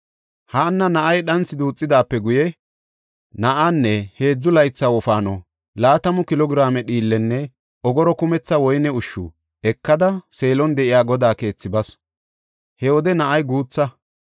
Haanna na7ay dhanthi duuthidaape guye, na7aanne heedzu laytha wofaano laatamu kilo giraame dhiillenne ogoro kumetha woyne ushshu ekada Seelon de7iya Godaa keethi basu; he wode na7ay guutha.